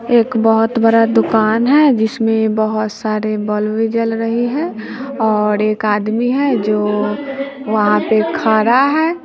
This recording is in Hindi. एक बहुत बड़ा दुकान है जिसमें बहुत सारे बल्ब जल रहे है और एक आदमी है जो वहां पे खा रहा है।